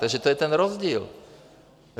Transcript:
Takže to je ten rozdíl.